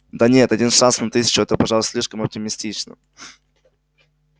да нет один шанс на тысячу это пожалуй слишком оптимистично